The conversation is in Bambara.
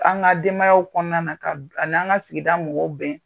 An ka denbayaw kɔnɔna a n'an ka sigi mɔgɔw bɛn